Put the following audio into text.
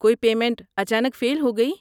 کوئی پیمنٹ اچانک فیل ہو گئی؟